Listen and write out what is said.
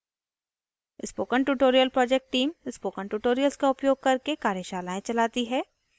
spoken tutorial project team spoken tutorials का उपयोग करके कार्यशालाएं चलाती है